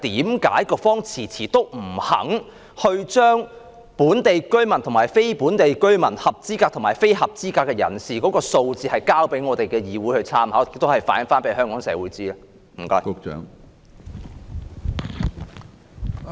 為何局方遲遲不肯將本地居民和非本地居民"走數"的分項數字提供給立法會參考，並向香港社會反映？